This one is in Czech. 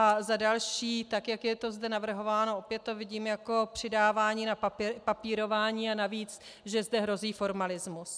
A za další, tak jak je to zde navrhováno, opět to vidím jako přidávání na papírování a navíc, že zde hrozí formalismus.